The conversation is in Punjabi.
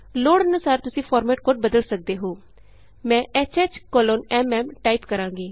ਲੋੜ ਅਨੂਸਾਰ ਤੁਸੀਂ ਫਾਰਮੈਟ ਕੋਡ ਬਦਲ ਸਕਦੇ ਹੋਮੈਂ HHMM ਟਾਈਪ ਕਰਾਂਗੀ